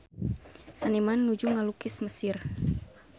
Seniman nuju ngalukis Mesir